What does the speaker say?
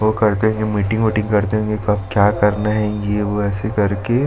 वो करते है मीटिंग वीटिंग करते होंगे कब क्या करना है ये वो ऐसे करके --